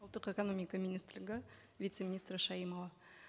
ұлттық экономика министрлігі вице министрі шаимова